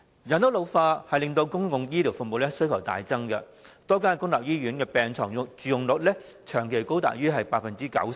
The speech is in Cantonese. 人口老化令公共醫療服務需求大增，多間公立醫院的病床佔用率長期高於 90%。